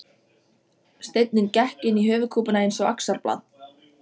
Steinninn gekk inn í höfuðkúpuna eins og axarblað.